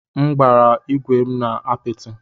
M gbara ígwè m na apịtị.